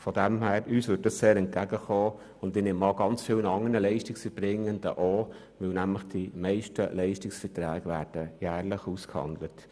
Uns würde dieser Punkt deshalb sehr entgegenkommen, und ich denke, vielen anderen Leistungserbringern auch, denn die meisten Leistungsverträge werden jährlich ausgehandelt.